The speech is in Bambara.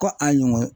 Ko a ɲɛnɔ